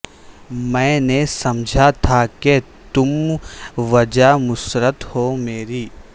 میں نے سمجھا تھا کہ تم وجہ مسرت ہو مری